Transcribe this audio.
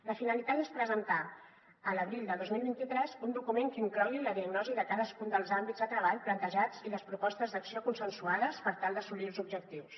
la finalitat és presentar a l’abril del dos mil vint tres un document que inclogui la diagnosi de cadascun dels àmbits de treball plantejats i les propostes d’acció consensuades per tal d’assolir ne els objectius